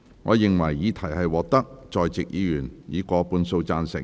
我認為議題獲得在席議員以過半數贊成。